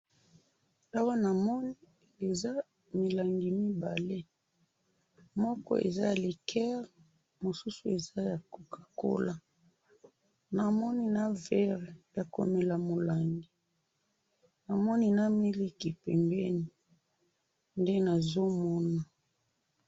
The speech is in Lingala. awa na moni eza milangi mibale moko eza ya liqueur mosusu eza ya cocacola na moni na ver yako mela mulangi na moni na miliki pembeni nde nazo mona